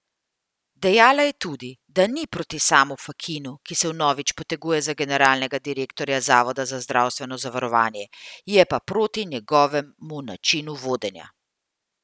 Dejala je tudi, da ni proti Samu Fakinu, ki se vnovič poteguje za generalnega direktorja Zavoda za zdravstveno zavarovanje, je pa proti njegovemu načinu vodenja.